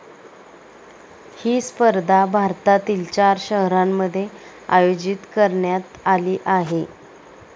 ही स्पर्धा भारतातील चार शहरांमध्ये आयोजित करण्यात आली आहे.